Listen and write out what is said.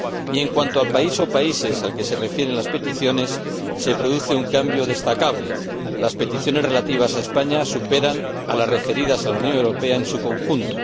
Y en cuanto al país o países al que se refieren las peticiones se produce un cambio destacable las peticiones relativas a España superan a las referidas a la Unión Europea en su conjunto